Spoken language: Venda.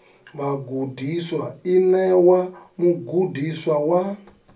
vhagudiswa i ṋewa mugudiswa wa